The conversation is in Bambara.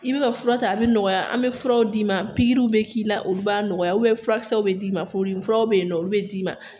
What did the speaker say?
I bɛ ka fura ta a bɛ nɔgɔya, an bɛ furaw d'i ma , pikiriw bɛ k'i la ,olu b'a nɔgɔya b furakisɛw bɛ d'i ma , furudimi furaw bɛ yen na olu bɛ d'i ma.